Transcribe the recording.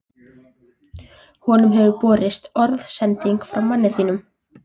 Honum hefur borist orðsending frá manni þínum.